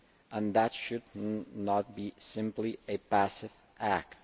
and that should not be simply a passive act.